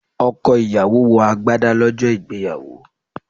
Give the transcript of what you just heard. Ọkọ̀ ìyàwó wọ agbádá lọ́jọ́ ìgbéyàwó.